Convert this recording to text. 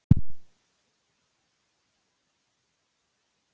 Okkur sýnist að þá komi tvö svör til greina.